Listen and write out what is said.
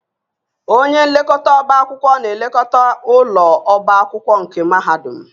Onye nlekọta ọbá akwụkwọ na-elekọta ụlọ ọbá akwụkwọ nke mahadum